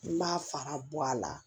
I b'a fara bɔ a la